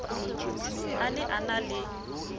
a ne a na le